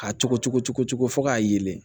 K'a cogo cuncugu fɔ k'a yeelen